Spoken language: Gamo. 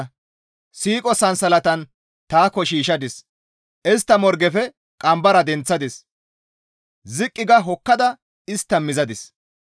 Ta istta qadheta wodoroninne siiqo sansalatan taakko shiishshadis; istta morgefe qambara denththadis; ziqqi ga hokkada istta mizadis.